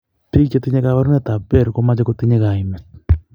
Bik chetinye kabarunet ab behr komache kotinye kaimet